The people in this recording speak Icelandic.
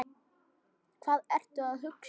Hvað ertu að hugsa?